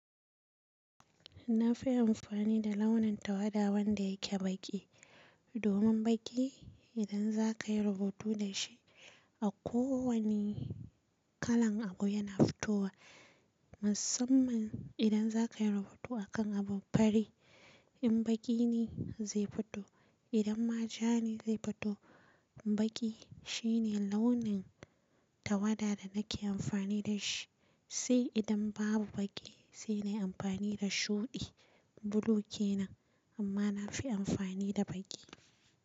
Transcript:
Na fi amfani da launin tawada wanda yake baƙi. Domin baƙi idan za ka yi rubutu da shi a kowane kalan abu yana fitowa. Musamman idan za ka yi rubutu akan abin fari. In baƙi ne zai fito, idan ma ja ne zai fito. Baƙi shine launin tawada da nake amfani da shi. Sai idan babu baƙi sai na yi amfani da shuɗi, bulu ke nan. Amma na fi amfani da baƙi.